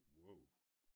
Wow!